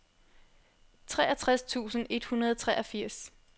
treogtres tusind et hundrede og treogfirs